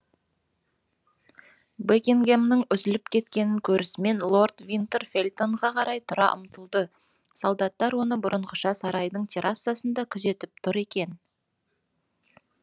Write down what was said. бекингэмнің үзіліп кеткенін көрісімен лорд винтер фельтонға қарай тұра ұмтылды солдаттар оны бұрынғыша сарайдың террасасында күзетіп тұр екен